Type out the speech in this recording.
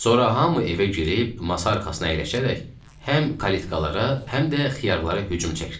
Sonra hamı evə girib masa arxasına əyləşərək həm kalitkalara, həm də xiyarlara hücum çəkdilər.